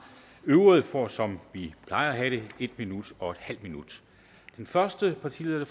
øvrige får som vi plejer at have det en minut og halv minut den første partileder der